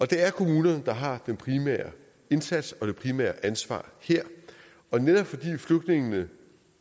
det er kommunerne der har den primære indsats og det primære ansvar her netop fordi flygtningene